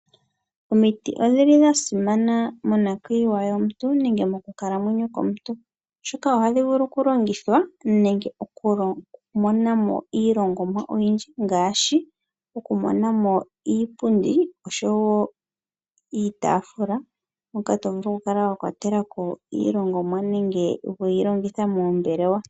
Omiti odhi li dha simana monakwiiwa yomuntu nenge mokukalamwenyo komuntu oshoka oha dhi vulu okulongithwa nenge okumonamo iilongomwa oyindji ngaashi okumonamo iipundi oshowo iitafula hoka to vulu okukala wa kwatelako iilongomwa nenge yi longithwe moombelewa.